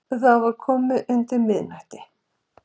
Þá var komið undir miðnætti